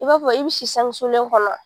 I b'a fɔ i bi si sangɛ wusulen kɔnɔ?